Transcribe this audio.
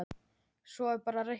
Svo er bara að reikna.